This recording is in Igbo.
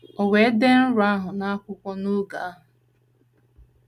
O wee dee nrọ ahụ n’akwụkwọ n’oge ahụ. ”